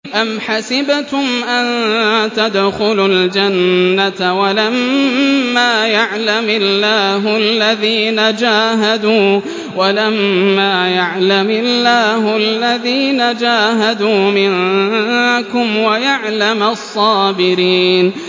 أَمْ حَسِبْتُمْ أَن تَدْخُلُوا الْجَنَّةَ وَلَمَّا يَعْلَمِ اللَّهُ الَّذِينَ جَاهَدُوا مِنكُمْ وَيَعْلَمَ الصَّابِرِينَ